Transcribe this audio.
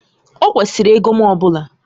Ọ kwesịrị ego m ọ bụla